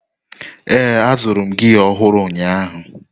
Ee, azụrụ m gia ọhụrụ ụnyaahụ.